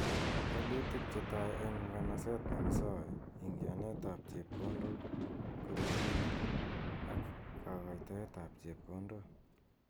Walutik che tai eng nganaset neki sae , ingianet ab chepkondok kurubinik and kakatoet ab chepkondok.